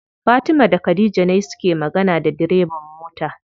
Fatima da khadija ne suke magana da direban mota.